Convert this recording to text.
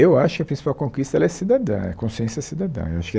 Eu acho que a principal conquista ela é cidadã é a consciência cidadã eu acho que.